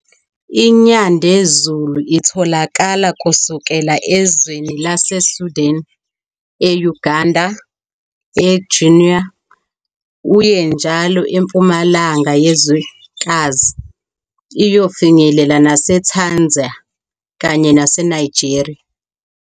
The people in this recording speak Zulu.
INyandezulu itholakala kusukela ezweni laseSudan, e-uGanda, eGuinea uye njalo empumalanga yezwekazi iyofinyelela naseTanzania kanye nase Nigeria.